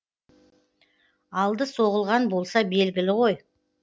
алды соғылған болса белгілі ғой